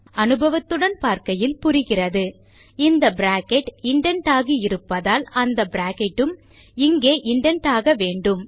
அனுபவத்துடன் பார்க்கையில் புரிகிறதுஇந்த bracket indent ஆகி இருப்பதால் அந்த பிராக்கெட் உம் இங்கே இண்டென்ட் ஆக வேண்டும்